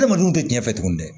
Adamadenw tɛ tiɲɛ tuguni dɛ